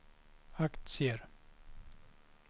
aktier